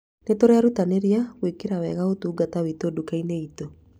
Nĩ tũrerutanĩria gwĩkĩra wega ũtungata witũ nduka-inĩ itũ